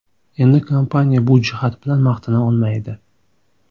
Endi kompaniya bu jihat bilan maqtana olmaydi.